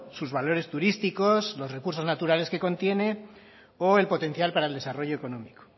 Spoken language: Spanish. sus valores turísticos los recursos naturales que contiene o el potencial para el desarrollo económico